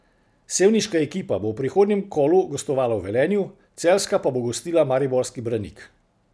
Sevniška ekipa bo v prihodnjem kolu gostovala v Velenju, celjska pa bo gostila mariborski Branik.